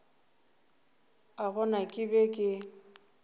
a bona ke be ke